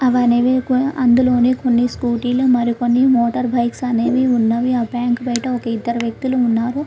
అవి అనేవి అందులోనే కొన్ని స్కూటీలు మరికొన్ని మోటార్ బైక్స్ అనేవి ఉన్నాయి. ఆ బ్యాంకు బయట ఇద్దరు వ్యక్తులు ఉన్నారు.